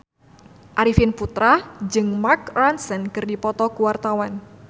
Arifin Putra jeung Mark Ronson keur dipoto ku wartawan